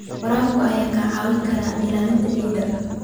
Waraabka ayaa kaa caawin kara ilaalinta ciidda.